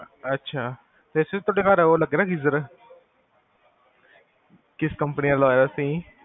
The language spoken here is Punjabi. ਅਛਾ